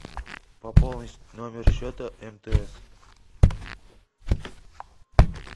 пополнить номер счета мтс